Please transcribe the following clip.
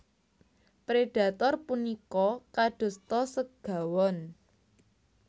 Predhator punika kadosta segawon